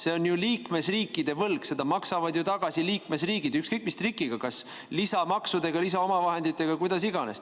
See on liikmesriikide võlg, seda maksavad ju tagasi liikmesriigid, ükskõik, mis trikiga, kas lisamaksudega, lisaomavahenditega, kuidas iganes.